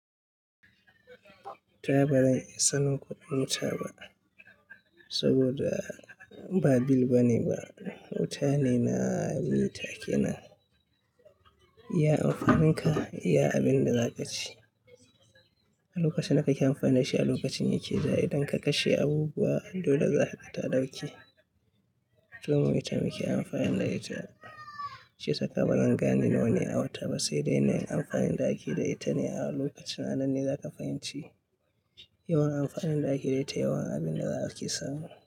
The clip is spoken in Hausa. Ta ya ba zan iya sanin kuɗin wuta ba saboda ba bill bane ba. Wuta ne na yi take nan. Iya amfanin ka, iya abin da za ka ci. A lokaci na ka yi amfani da shi a lokacin yake zai yi. Idan ka kashe abubuwa, dole za fitta ɗaki. To mu wuta muke amfani da ita. Shi yi sa ba zan gane nawa ne a wuta ba, sai dai na yi amfanin da ake da ita ne a lokacin. Annan ne za ka fahimci yawan amfanin da ake da ita, yawan abin da za ka samu.